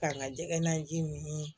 K'an ka jɛgɛ naji min